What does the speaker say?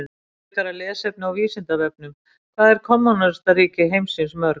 Frekara lesefni á Vísindavefnum: Hvað eru kommúnistaríki heimsins mörg?